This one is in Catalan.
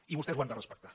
i vostès ho han de respectar